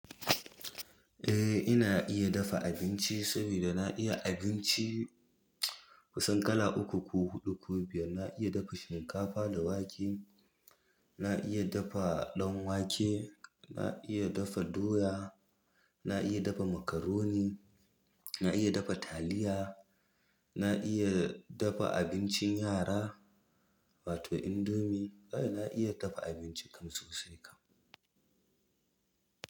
Eh ina iya dafa abinci saboda na iya abinci kusan kala uku ko huɗu ko biyar. Na iya dafa shinkafa da wake, na iya dafa ɗan wake, na iya dafa doya, na iya dafa macaroni, na iya dafa taliya, na iya dafa abincin yara, wato indomie. Kai na iya dafa abinci kam sosai kam.